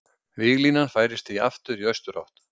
Víglínan færist því aftur í austurátt